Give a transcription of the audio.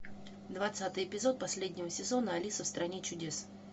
двадцатый эпизод последнего сезона алиса в стране чудес